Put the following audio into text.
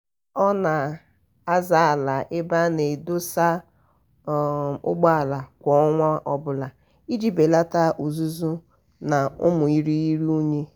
ọ um na-aza ala ebe a na-edosa um ụgbọala kwa ọnwa ọbụla iji belata uzuzu na ụmụ irighiri unyi.